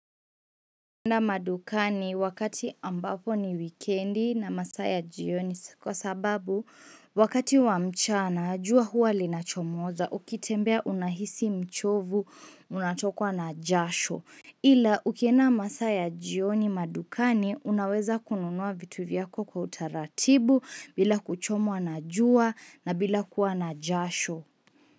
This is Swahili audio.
Mwenda madukani wakati ambapo ni wikendi na masaya jioni kwa sababu wakati wa mchana jua huwa linachomoza ukitembea unahisi mchovu unatokwa na jasho Ila ukienda masaya jioni madukani unaweza kununua vitu vyako kwa utaratibu bila kuchomoa na jua na bila kuwa na jasho.